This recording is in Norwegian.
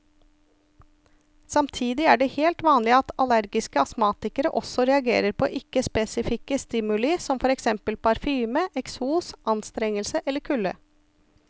Samtidig er det helt vanlig at allergiske astmatikere også reagerer på ikke spesifikke stimuli som for eksempel parfyme, eksos, anstrengelse eller kulde.